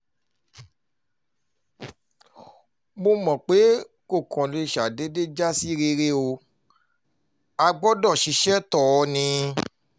mo mọ̀ pé kò kàn lè ṣàdédé já sí rere o á gbọ́dọ̀ ṣiṣẹ́ tó ò ní